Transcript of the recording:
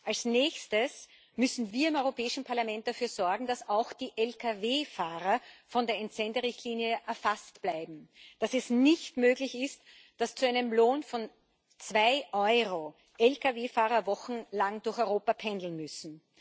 Als nächstes müssen wir im Europäischen Parlament dafür sorgen, dass auch die LKW Fahrer von der Entsenderichtlinie erfasst bleiben, dass es nicht möglich ist, dass zu einem Lohn von zwei Euro LKW Fahrer wochenlang durch Europa pendeln müssen.